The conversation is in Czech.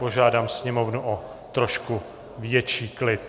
Požádám sněmovnu o trošku větší klid!